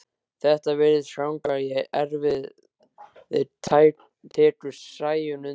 Þetta virðist ganga í erfðir, tekur Sæunn undir.